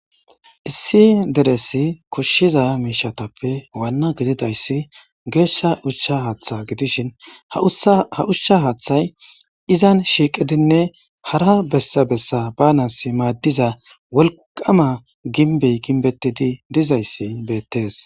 Issi deresi koshshiza miishatappe waanna gididayssi geeshsha ushsha haaththa gidishin ha ushsha haaththay izan shiiqidinne hara bessabessa banas maaddiza wolqama ginbey ginbettidi dizayssi beettees.